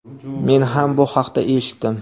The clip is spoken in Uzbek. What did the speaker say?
men ham bu haqda eshitdim.